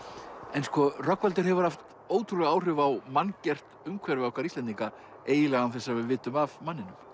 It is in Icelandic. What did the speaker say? en sko Rögnvaldur hefur haft ótrúleg áhrif á manngert umhverfi okkar Íslendinga eiginlega án þess að við vitum af manninum